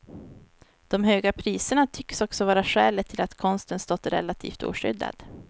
De höga priserna tycks också vara skälet till att konsten stått relativt oskyddad.